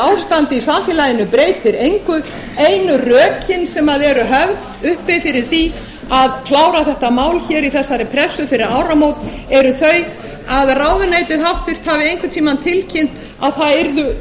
ástand í samfélaginu breytir engu einu rökin sem eru höfð uppi fyrir því að klára þetta mál hér í þessari pressu fyrir áramót eru þau að ráðuneytið h v hafi einhvern tíma tilkynnt að það yrðu